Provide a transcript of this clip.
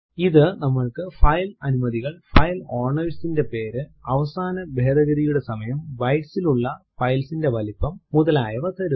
ഇത് നമ്മൾക്ക് ഫൈൽ അനുമതികൾ ഫൈൽ owner ന്റെ പേര് അവസാന ഭേദഗതിയുടെ സമയം bytes ലുള്ള ഫൈൽ ന്റെ വലിപ്പം മുതലായവ തരുന്നു